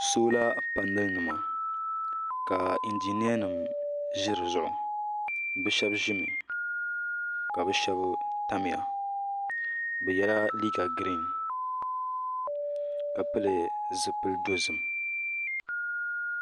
Sola panali nima ka njiniya nima ʒɛ dizuɣu bɛ sheba ʒimi ka bɛ sheba tamya bɛ yela liiga girin ka pili zipil'dozim.